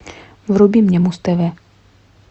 вруби мне муз тв